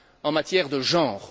en matière de genre.